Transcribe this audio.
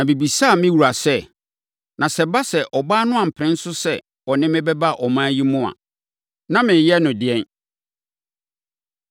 “Na mebisaa me wura sɛ, ‘Na sɛ ɛba sɛ, ɔbaa no ampene so sɛ ɔne me bɛba ɔman yi mu a, na mereyɛ no ɛdeɛn?’